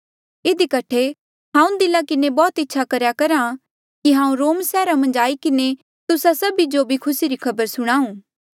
इधी कठे हांऊँ दिला किन्हें बौह्त इच्छा करहा कि हांऊँ रोम सैहरा मन्झ आई किन्हें तुस्सा सभी जो भी खुसी री खबर सुणाऊं